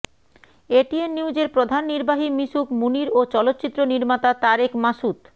ATN নিউজের প্রধান নির্বাহী মিশুক মুনীর ও চলচ্চিত্র নির্মাতা তারেক মাসুদ